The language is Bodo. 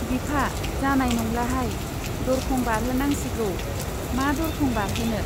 बिफा, जानाय नंलाहाय, दरखं बारहोनांसिगौ। मा दरखं बारहोनो ?